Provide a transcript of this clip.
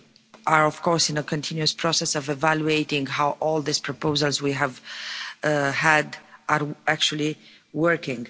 We are of course in a continuous process of evaluating how all these proposals we have had are actually working.